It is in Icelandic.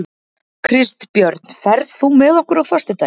Kristbjörn, ferð þú með okkur á föstudaginn?